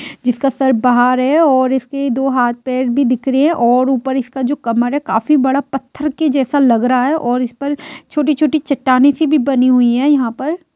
जिसका सर बाहर है और इसके दो हाथ-पैर भी दिख रहे है और ऊपर इसका जो कमर है काफी बड़ा पत्थर के जैसा लग रहा है और इस पर छोटी-छोटी चट्टानों सी भी बनी हुई है यहाँ पर।